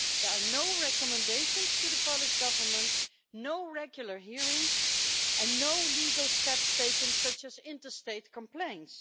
There are no recommendations to the Polish Government, no regular hearings and no legal steps taken, such as interstate complaints.